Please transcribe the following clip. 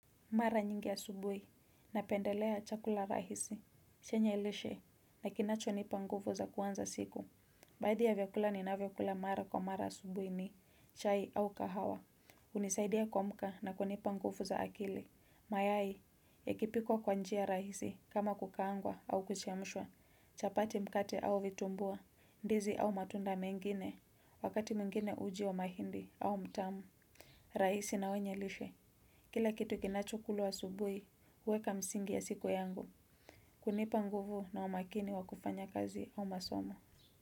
Mara nyingi asubuhi, napendelea chakula rahisi. Chenye lishe, na kinacho nipa nguvu za kuanza siku. Baadhi ya vyakula ninavyokula mara kwa mara asubuhi ni chai au kahawa. Unisaidia kuamka na kunipa nguvu za akili. Mayai, yakipikwa kwa njia rahisi, kama kukaangwa au kuchemshwa. Chapati, mkate au vitumbua, ndizi au matunda mengine, wakati mwingine uji wa mahindi au mtama. Rahisi na wenye lishe. Kila kitu kinacho kulwa asubuhi, uweka msingi ya siku yangu. Kunipa nguvu na umakini wakufanya kazi au masomo.